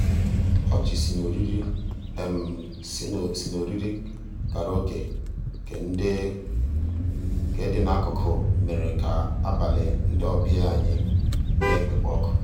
ọchị sì n'òrìrì sì n'òrìrì kàráòké nkè dị n'akụkụ mèrè kà àbàlí ndị ọbìà anyị nà-ekpékwa ọkụ.